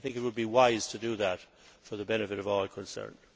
I think it would be wise to do that for the benefit of all concerned.